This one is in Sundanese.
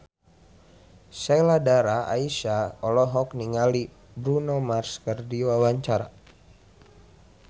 Sheila Dara Aisha olohok ningali Bruno Mars keur diwawancara